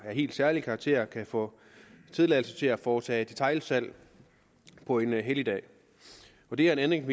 helt særlig karakter kan få tilladelse til at foretage detailsalg på en helligdag det er en ændring